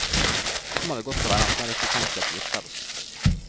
Kommer vi godt overens er det ikke utenkelig at vi gifter oss.